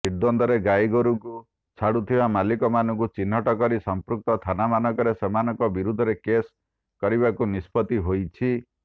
ନିଦ୍ୱର୍ନ୍ଦରେ ଗାଈଗୋରୁଙ୍କୁ ଛାଡୁଥିବା ମାଲିକମାନଙ୍କୁ ଚିହ୍ନଟ କରି ସଂପୃକ୍ତ ଥାନାମାନଙ୍କରେ ସେମାନଙ୍କ ବିରୁଦ୍ଧରେ କେଶ କରିବାକୁ ନିଷ୍ପତି ହୋଇଛି